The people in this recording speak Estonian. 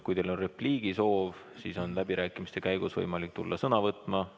Kui teil on repliigisoov, siis on läbirääkimiste käigus võimalik sõna võtta.